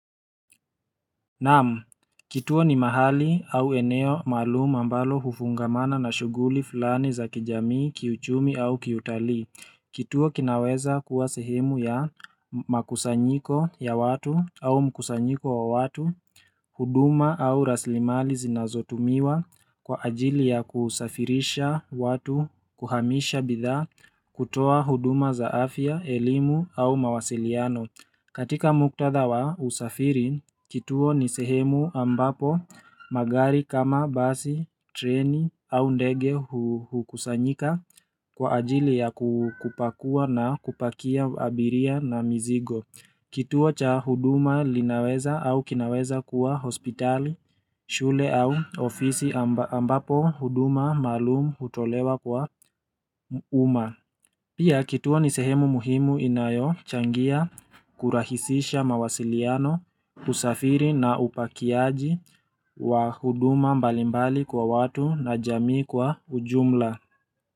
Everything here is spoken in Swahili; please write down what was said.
Naam, kituo ni mahali au eneo maalum ambalo hufungamana na shughuli fulani za kijamii, kiuchumi au kiutalii. Kituo kinaweza kuwa sehemu ya makusanyiko ya watu au mkusanyiko wa watu. Huduma au rasilimali zinazotumiwa kwa ajili ya kusafirisha watu kuhamisha bidhaa kutoa huduma za afya, elimu au mawasiliano. Katika muktadha wa usafiri, kituo ni sehemu ambapo magari kama basi, treni au ndege hukusanyika kwa ajili ya kupakua na kupakia abiria na mizigo. Kituo cha huduma linaweza au kinaweza kuwa hospitali, shule au ofisi ambapo huduma maalumu hutolewa kwa umma. Pia kituo ni sehemu muhimu inayochangia kurahisisha mawasiliano usafiri na upakiaji wa huduma mbalimbali kwa watu na jamii kwa ujumla.